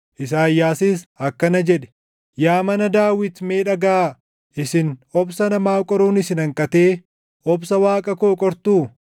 Isaayyaasis akkana jedhe; “Yaa mana Daawit mee dhagaʼaa! Isin obsa namaa qoruun isin hanqatee obsa Waaqa koo qortuu?